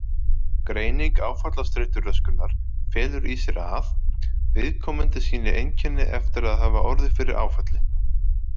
Greining áfallastreituröskunar felur í sér að: Viðkomandi sýni einkenni eftir að hafa orðið fyrir áfalli.